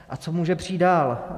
A co může přijít dál?